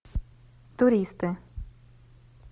туристы